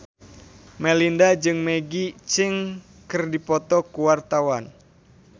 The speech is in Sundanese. Melinda jeung Maggie Cheung keur dipoto ku wartawan